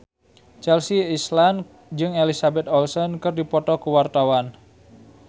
Chelsea Islan jeung Elizabeth Olsen keur dipoto ku wartawan